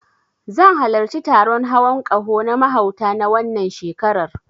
Zan halarci taron hawon ƙaho na mahauta, na wannan shekarar.